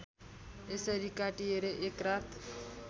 यसरी काटिएर एकरात